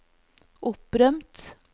opprømt